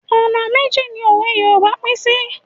Ọ̀nà méjì ni òwe Yorùbá pín sí.